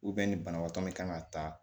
ni banabaatɔ min kan ka taa